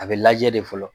A bɛ lajɛ de fɔlɔ